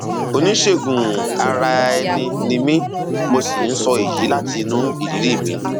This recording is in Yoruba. oníṣègùnaraẹni ni mí mo sì ń sọ èyí láti inú ìrírí mi